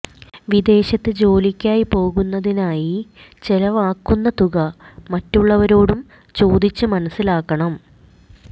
വിദേശത്ത് ജോലിക്കായി പോകുന്നതിനായി ചെലവാകുന്ന തുക മറ്റുള്ളവരോടും ചോദിച്ച് മനസ്സിലാക്കണം